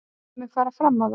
Ég mun fara fram á það.